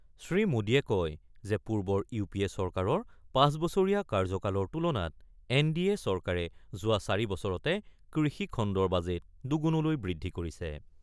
শ্ৰীমোদীয়ে কয় যে পূৰ্বৰ ইউ পি এ চৰকাৰৰ ৫ বছৰীয়া কাৰ্যকালৰ তুলনাত এন ডি এ চৰকাৰে যোৱা ৪ বছৰতে কৃষি খণ্ডৰ বাজেট দুগুণলৈ বৃদ্ধি কৰিছে।